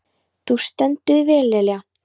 Þú stendur þig vel, Lilja!